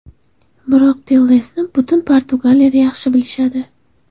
Biroq Tellesni butun Portugaliyada yaxshi bilishadi.